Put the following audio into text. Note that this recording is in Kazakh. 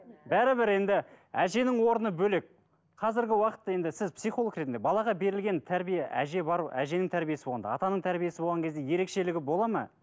бәрібір енді әженің орны бөлек қазіргі уақытта енді сіз психолог ретінде балаға берілген тәрбие әже бар әженің тәрбиесі болғанда атаның тәрбиесі болған кезде ерекшелігі болады ма